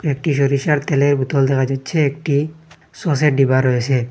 একটি সরিষার তেলের বোতল দেখা যাইচ্ছে একটি সসের ডিব্বা রয়েসে ।